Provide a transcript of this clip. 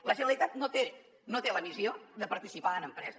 la generalitat no té la missió de participar en empreses